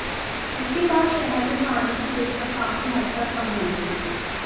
इसके बाद शहर में पानी की दिक्कत काफी हद तक कम होगी